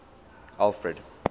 alfred